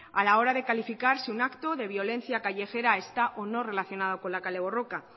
a la hora de calificar si un acto de violencia callejera está o no relacionado con la kale borroka